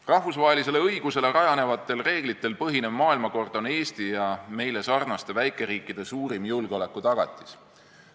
Rahvusvahelisele õigusele rajanevatel reeglitel põhinev maailmakord on Eesti ja meile sarnaste väikeriikide suurim julgeolekutagatis.